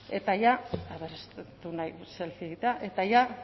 eta ja